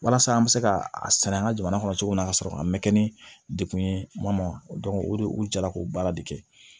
Walasa an bɛ se ka a sɛnɛ an ka jamana kɔnɔ cogo min na ka sɔrɔ a ma kɛ ni degun ye ma o de u jara k'o baara de kɛ